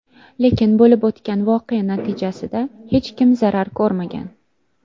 Lekin bo‘lib o‘tgan voqea natijasida hech kim zarar ko‘rmagan.